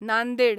Nanded